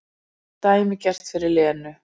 Dæmigert fyrir Lenu.